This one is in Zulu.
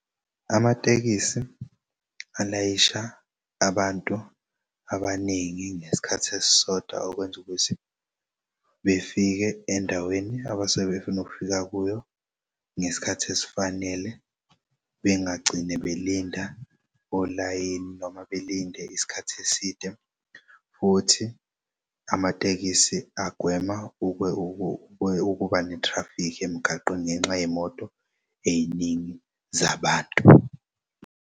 Amatekisi alayisha abantu abaningi ngesikhath'esisodwa okwenza ukuthi befike endaweni abasuke befuna ukufika kuyo ngesikhathi esifanele bengagcini belinda olayini noma belinde isikhathi eside futhi amatekisi agwema ukuba nethrafikhi emgaqweni ngenxa yey'moto ey'ningi zabantu.